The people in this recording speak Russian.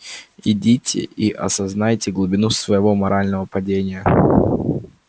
идите и осознайте глубину своего морального падения